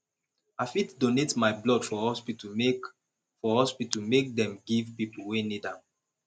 i dey donate my blood for hospital make for hospital make dem give pipo wey need am